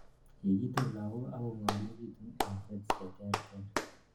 yegitun lagok ak kongomekitun en rates cheterter